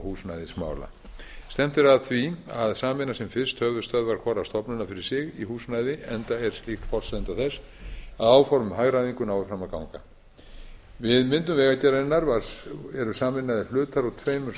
húsnæðismála stefnt er að því að sameina sem fyrst höfuðstöðvar hvorrar stofnunar fyrir sig í húsnæði enda er slíkt forsenda þess að áform um hagræðingu nái fram að ganga við myndun vegagerðarinnar eru sameinaðir hlutar úr tveimur